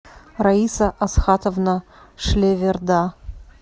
раиса асхатовна шлеверда